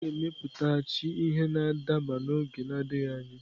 A ga-emepụtaghachi ihe na-adaba n'oge na-adịghị anya.